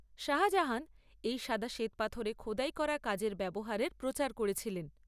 শাহজাহান এই সাদা শ্বেতপাথরে খোদাই করা কাজের ব্যবহারের প্রচার করেছিলেন।